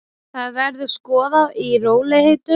Það verður skoðað í rólegheitum.